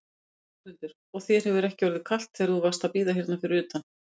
Þórhildur: Og þér hefur ekki orðið kalt þegar þú varst að bíða hérna fyrir utan?